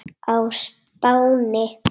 á Spáni.